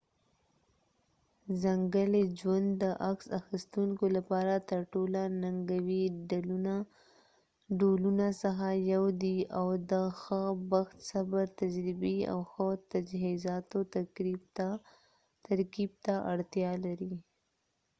ځنګلي ژوند د عکس اخیستونکو لپاره ترټولو ننګونکي ډولونه څخه یو دی او د ښه بخت صبر تجربې او ښه تجهیزاتو ترکیب ته اړتیا لري